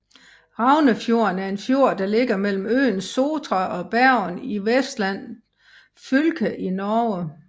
Raunefjorden er en fjord der ligger mellem øen Sotra og Bergen i Vestland fylke i Norge